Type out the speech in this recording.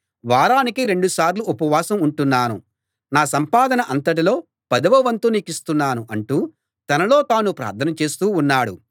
వారానికి రెండుసార్లు ఉపవాసం ఉంటున్నాను నా సంపాదన అంతటిలో పదవ వంతు నీకిస్తున్నాను అంటూ తనలో తాను ప్రార్థన చేస్తూ ఉన్నాడు